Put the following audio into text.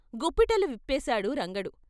గుప్పిటలు విప్పేశాడు రంగడు.